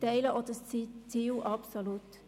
Ich teile dieses Ziel vollumfänglich.